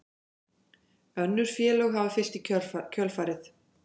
Önnur félög hafa fylgt í kjölfarið